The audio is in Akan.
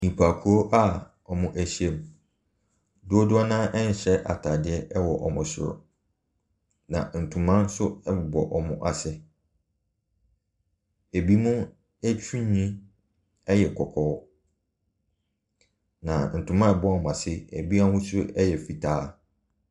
Nnipakuo a wɔahyiam. Dodoɔ no ara nhyɛ ataadeɛ wɔ wɔn soro. Na ntoma nso bɔ wɔn ase. Ebinom etiri nwhi yɛ kɔkɔɔ. Na ntoma a ɛbɔ wɔn ase ebi ahosuo yɛ fitaa.